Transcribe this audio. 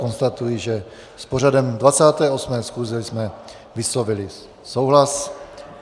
Konstatuji, že s pořadem 28. schůze jsme vyslovili souhlas.